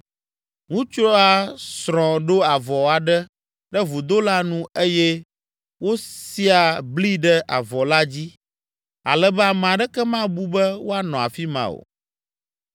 Ŋutsua srɔ̃ ɖo avɔ aɖe ɖe vudo la nu eye wosia bli ɖe avɔ la dzi ale be ame aɖeke mabu be woanɔ afi ma o.